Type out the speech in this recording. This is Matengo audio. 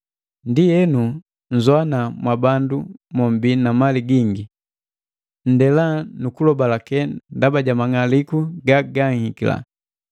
Ndienu nzowana mwabandu mombii na mali gingi! Nndela nu kulobaleke ndaba ja mang'aliku ga ganhikila.